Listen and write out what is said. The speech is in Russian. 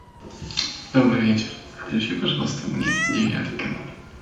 добрый вечер включи пожалуйста мне девятый канал